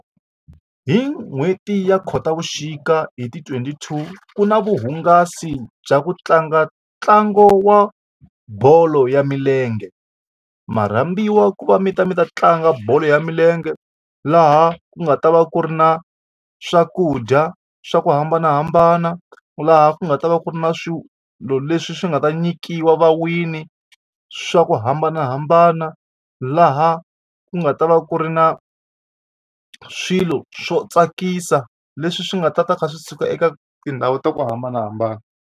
Hi n'hweti ya Khotavuxika hi ti-twenty two ku na vuhungasi bya ku tlanga ntlangu wa bolo ya milenge. Ma rhambiwa ku va mi ta mi ta tlanga bolo ya milenge laha ku nga ta va ku ri na swakudya swa ku hambanahambana laha ku nga ta va ku ri na swilo leswi swi nga ta nyikiwa va-win-i swa ku hambanahambana laha ku nga ta va ku ri na swilo swo tsakisa leswi swi nga ta kha swi suka eka tindhawu ta ku hambanahambana.